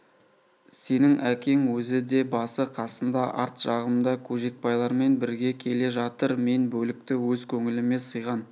сенің әкең өзі де басы-қасында арт жағымда көжекбайлармен бірге келе жатыр мен бөлікті өз көңіліме сыйған